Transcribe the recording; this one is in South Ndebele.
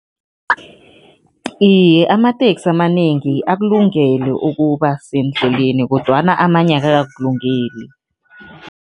Iye, amateksi amanengi akulungele ukuba sendleleni kodwana amanye akakakulungeli.